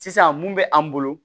Sisan mun bɛ an bolo